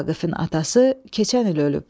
Vaqifin atası keçən il ölüb.